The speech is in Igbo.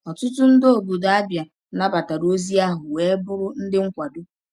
Ọtụtụ ndị obodo Abia nabatara ozi ahụ wee bụrụ ndị nkwado.